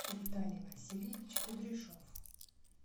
виталий васильевич кудряшов